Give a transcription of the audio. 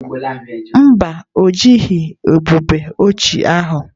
Mba, o jighị ubube ochie ahụ.